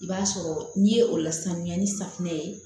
I b'a sɔrɔ n'i ye o lasamiya ni safinɛ ye